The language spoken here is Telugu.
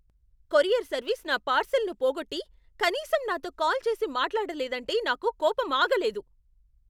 కొరియర్ సర్వీస్ నా పార్శిల్ను పోగొట్టి, కనీసం నాతో కాల్ చేసి మాట్లాడలేదంటే నాకు కోపం ఆగలేదు.